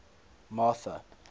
martha